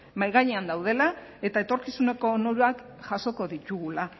mahai gainean daudela eta etorkizuneko onurak jasoko ditugula